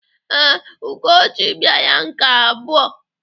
Ee, Ugochi bịara nke abụọ.